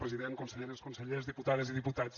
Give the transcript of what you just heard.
president conselleres consellers diputades i diputats